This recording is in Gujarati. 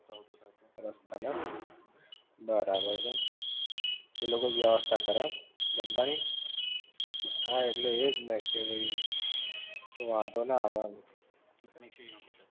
રસ્તા માં એમ? બરાબર છે એ લોકો જ વ્યવસ્થા કરે એમ? જમવાની હા ઍટલે એ જ ને કે ભઇ વાંધો ના આવે એમ